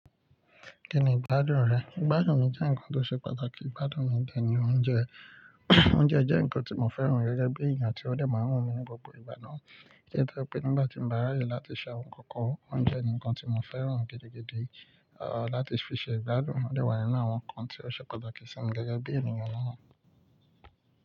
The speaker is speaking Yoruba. Kí ni ìgbádùn rẹ? Ìgbádùn mi jẹ́ ǹkan tó ṣe pàtàkì, ìgbádùn mi dẹ́ ni oúnjẹ. Oúnjẹ jẹ́ ǹkan tí mo fẹ́ràn gẹ́gẹ́ bí èèyàn tí ó dẹ̀ maa wu mí ní gbogbo ìgbà náà, tó jé nígbà tí mo bá ráyè láti ṣe àwọn ǹkan kan, oúnjẹ ni ǹkan tí mo fẹ́ràn gidi-gidi, láti fi ṣe ìgbádùn. Ó dẹ wà nínú àwọn ǹkan tí ó ṣe pàtàkì sí mi gẹ́gẹ́ bí ènìyàn náà.